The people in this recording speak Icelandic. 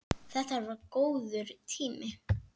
Þetta var góður tími.